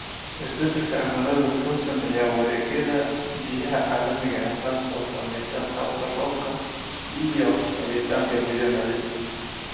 Isbeddelka cimiladu wuxuu saameeyaa wareegyada biyaha caalamiga ah, taas oo saamaysa qaabka roobka iyo helitaanka biyo nadiif ah.